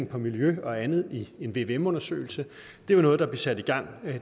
på miljø og andet i form af en vvm undersøgelse var noget der blev sat i gang